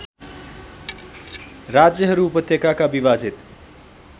राज्यहरू उपत्यकाका विभाजित